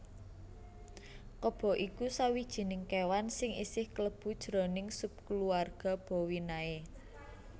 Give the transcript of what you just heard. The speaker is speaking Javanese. Kebo iku sawijining kéwan sing isih klebu jroning subkulawarga bovinae